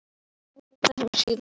Er þetta hin síðari